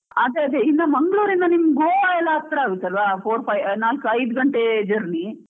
ಅದ್ ಅದೇ, ಇನ್ ಮಂಗಳೂರಿನಿಂದ ಗೋವಾಯೆಲ್ಲ ಹತ್ರ ಆಗುತ್ತಲ್ವಾ four five ನಾಲ್ಕ್ ಐದು ಗಂಟೆ journey .